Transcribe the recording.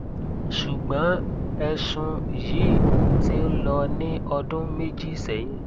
ṣùgbọn ẹsùn yìí ti ń lọ ní ọdún méjì sẹyìn